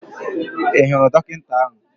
Ị hụrụ dọkịta ahụ?